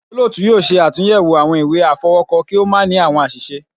Olóòtú yóò ṣe àtúnyẹwò awọn ìwé afọwọkọ, ki o ma ni awọn aṣiṣe